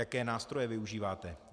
Jaké nástroje využíváte?